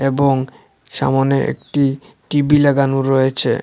এবং সামনে একটি টি_ভি লাগানো রয়েছে।